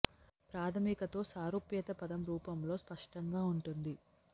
ప్రాధమిక తో సారూప్యత పదం రూపంలో స్పష్టంగా ఉంటుంది